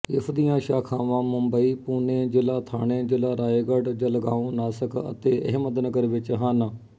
ਇਸਦੀਆਂ ਸ਼ਾਖ਼ਾਵਾਂ ਮੁੰਬ ਪੂਨੇ ਜਿਲ਼੍ਹਾ ਥਾਨੇ ਜਿਲ਼੍ਹਾ ਰਾਏਗਾਡ਼ ਜਲਗਾਓਂ ਨਾਸਿਕ ਅਤੇ ਅਹਿਮਦਨਗਰ ਵਿੱਚ ਹਨ